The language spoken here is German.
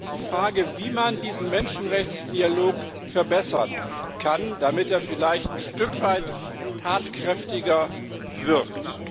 Die Frage, wie man diesen Menschenrechtsdialog verbessern kann, damit er vielleicht ein Stück weit tatkräftiger wirkt.